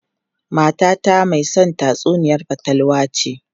Matata mai son tatsuniyar fatalwa ce.